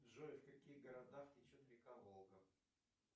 джой в каких городах течет река волга